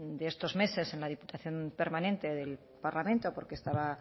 de estos meses en la diputación permanente del parlamento porque estaba